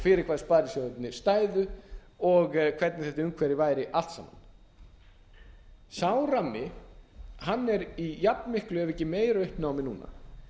fyrir bað sparisjóðirnir stæðu og hvernig þetta umhverfi væri allt saman sá rammi er í jafnmiklu ef ekki meira uppnámi núna